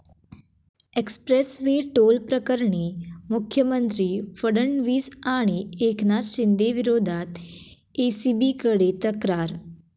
Express वे toll प्रकरणी मुख्यमंत्री फडणवीस आणि एकनाथ शिंदेंविरोधात एसीबीकडे तक्रार